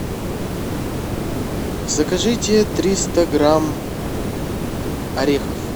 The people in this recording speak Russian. закажите триста грамм орехов